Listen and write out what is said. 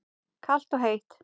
Kalt og heitt.